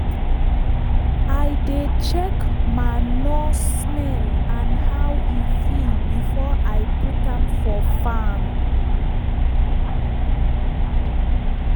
i dey check manure smell and how e feel before i put am for farm.